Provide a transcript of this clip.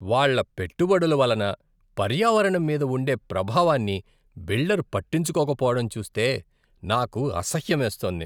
వాళ్ళ పెట్టుబడుల వలన పర్యావరణం మీద ఉండే ప్రభావాన్ని బిల్డర్ పట్టించుకోకపోవడం చూస్తే నాకు అసహ్యమేస్తోంది.